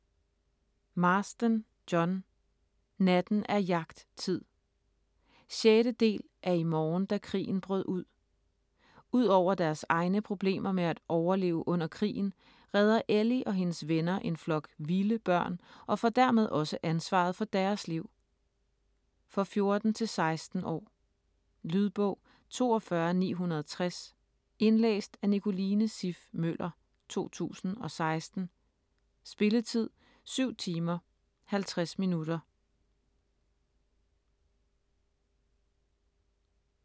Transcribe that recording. Marsden, John: Natten er jagttid 6. del af I morgen da krigen brød ud. Ud over deres egne problemer med at overleve under krigen, redder Ellie og hendes venner en flok "vilde" børn, og får dermed også ansvaret for deres liv. For 14-16 år. Lydbog 42960 Indlæst af Nicoline Siff Møller, 2016. Spilletid: 7 timer, 50 minutter.